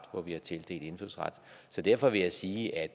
hvor vi har tildelt indfødsret så derfor vil jeg sige at